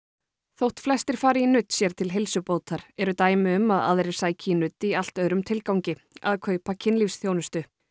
þótt flestir fari í nudd sér til heilsubótar eru dæmi um að aðrir sæki í nudd í allt öðrum tilgangi að kaupa kynlífsþjónustu